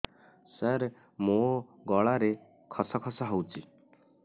ସାର ମୋ ଗଳାରେ ଖସ ଖସ ହଉଚି